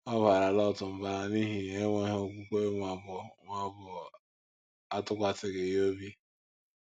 Ọ̀ baara Lọt mba n’ihi enweghị okwukwe ma ọ bụ ma ọ bụ atụkwasịghị Ya obi?